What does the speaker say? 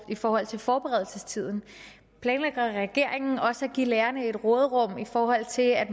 i forhold til forberedelsestiden planlægger regeringen også at give lærerne et råderum i forhold til at